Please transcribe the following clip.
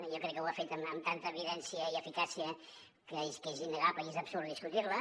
jo crec que ho ha fet amb tanta evidència i eficàcia que és innegable i és absurd discutir ho